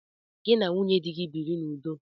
Gị na nwunye di gị biri n'udo!